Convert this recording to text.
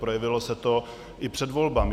Projevilo se to i před volbami.